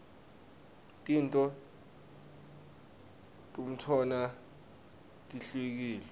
tento tmutona tihwkile